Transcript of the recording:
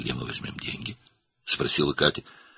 "Bəs pulu haradan tapacağıq?" - deyə Katya soruşdu.